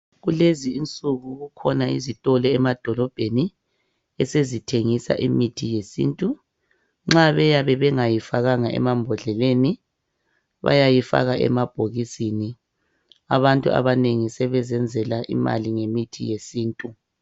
kulezi insuku kukhona izitolo emadolobheni esezithengisa imithi yesintu nxa beyabe bengayifakanga emambodleleni bayayifaka emabhokisini abantu abanengi sebezenzela imali ngemithi yesintu